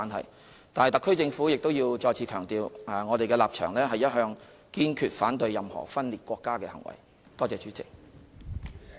可是，特區政府亦要再次強調，我們的立場一向是堅決反對任何分裂國家的行為。